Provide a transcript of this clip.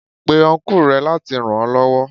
Pe Ọnkú rẹ láti ràn ó lọ́wọ́.